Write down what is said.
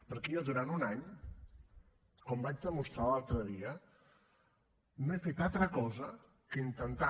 perquè jo durant un any com vaig demostrar l’altre dia no he fet altra cosa que intentar